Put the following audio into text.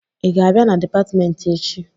Ị ga-abịa na dịpatmentị echi?